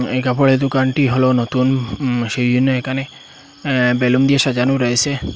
এই কাপড়ের দোকানটি হলো নতুন সেই জন্য এখানে এ-বেলুন দিয়ে সাজানো রয়েছে।